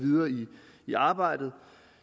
i arbejde